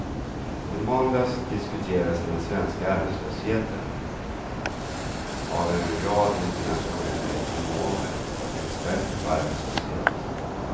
I måndags diskuterades den svenska arbetslösheten av en rad internationella ekonomer, experter på arbetslöshet.